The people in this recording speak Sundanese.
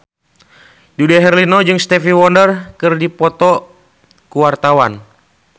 Dude Herlino jeung Stevie Wonder keur dipoto ku wartawan